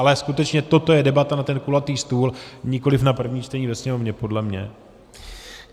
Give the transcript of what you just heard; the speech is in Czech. Ale skutečně toto je debata na ten kulatý stůl, nikoliv na první čtení ve Sněmovně podle mě.